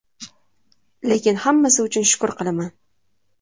Lekin hammasi uchun shukr qilaman.